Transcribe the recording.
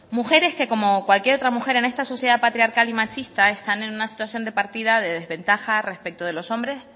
mujeres que como cualquier otra mujer en esta sociedad patriarcal y machista están en una situación de partida de desventaja respecto de los hombres